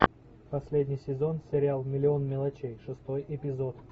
последний сезон сериал миллион мелочей шестой эпизод